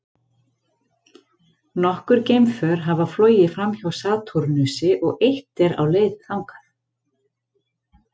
Nokkur geimför hafa flogið framhjá Satúrnusi og eitt er á leið þangað.